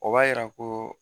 O b'a yira ko